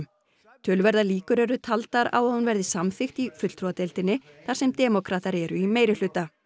töluverðar líkur eru taldar á að hún verði samþykkt í fulltrúadeildinni þar sem demókratar eru í meirihluta